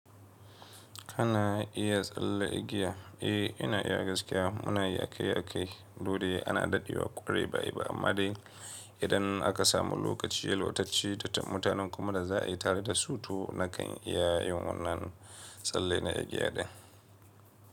Kana iya tsalle igiya? Eh, ina iya gaskiya. Muna yi aki akai dude ana dadewa kwarai ba a yi ba amma dai idan aka samu lokaci yalwatacce da mutanen kuma da za a yi tare da su to nakan iya yin wannan tsalle na igiya din.